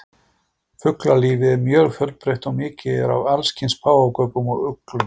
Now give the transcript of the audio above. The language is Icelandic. fuglalífið er mjög fjölbreytt og mikið er af allskyns páfagaukum og uglum